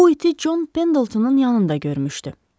O bu iti John Pendletonun yanında görmüşdü.